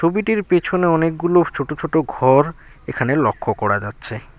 ছবিটির পেছনে অনেকগুলো ছোট ছোট ঘর এখানে লক্ষ্য করা যাচ্ছে।